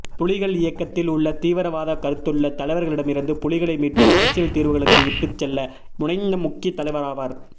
புலிகள் இயக்கத்தில் உள்ள தீவிரவாத கருத்துள்ள தலைவர்களிடமிருந்து புலிகளை மீட்டு அரசியல் தீர்வுகளுக்கு இட்டுச் செல்ல முனைந்த முக்கிய தலைவராவார்